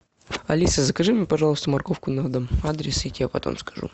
алиса закажи мне пожалуйста морковку на дом адрес я тебе потом скажу